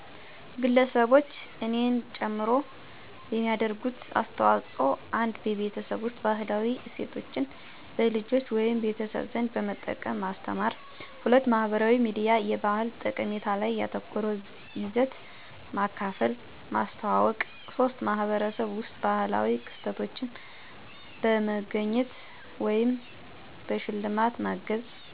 ግለሰቦች (እኔ ጨምሮ) የሚያደርጉት አስተዋጽኦ 1. በቤት ውስጥ: ባህላዊ እሴቶችን በልጆች ወይም ቤተሰብ ዘንድ በመጠቀም ማስተማር 2. በማህበራዊ ሚዲያ: የባህል ጠቀሜታ ላይ ያተኮረ ይዘት በማካፈል ማስተዋወቅ 3. በማህበረሰብ ውስጥ: ባህላዊ ክስተቶችን በመገኘት ወይም በሽልማት ማገዝ